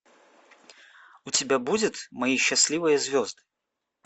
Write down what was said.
у тебя будет мои счастливые звезды